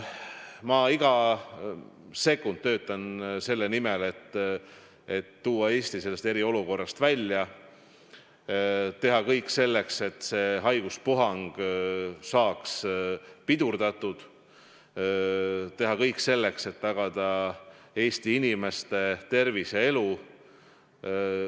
Ma iga sekund töötan selle nimel, et tuua Eesti sellest eriolukorrast välja, teha kõik selleks, et see haiguspuhang saaks pidurdatud, teha kõik selleks, et tagada Eesti inimeste tervis ja elu.